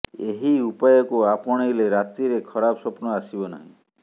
ଏହି ଉପାୟକୁ ଆପଣେଇଲେ ରାତିରେ ଖରାପ ସ୍ୱପ୍ନ ଆସିବ ନାହିଁ